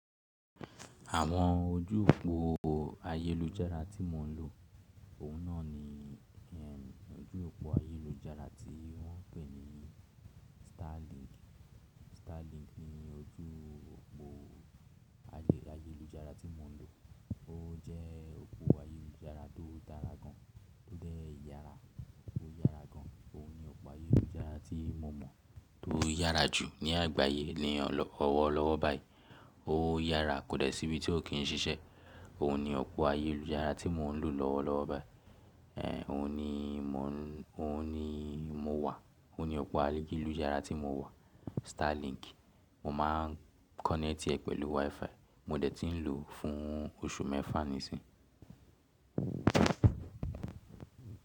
Àwọn ojú òpó ayélujára tí mò ń lò, òun náà ni ẹ, ojú òpó ayélujára tí wọ́n ń pè ní Starlink. Starlink ni ojú òpó ayélujára tí mò ń lò. Ó jẹ́ òpó ayélujára tó dára gan, tó dẹ́ yára, ó yára gan. Òun ni opo ayélujára tí mo mọ̀ tó yára jù ní àgbáyé ní ọlọ́ ọwọ́ lọ́wọ́ báyìí. Ó yára kò dẹ̀ sí bí ti ó kì ń ṣiṣẹ́. Òun ni opoayélujára tí mò ń lò lọ́wọ́ lọ́wọ́ báyìí. Ehn òun ni mò ń, òun ni mo wà, òun ni ọ̀pá ayélujára tí mo wà, Starlink. Mo máa ń kọ́nẹ́tì ẹ pẹ̀lú WiFi. Mo dẹ̀ ti ń lò ó fún oṣù mẹ́fà nísìnyí.